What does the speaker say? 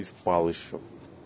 и спал ещё